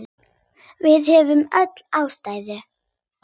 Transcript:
Við höfðum öll ástæðu.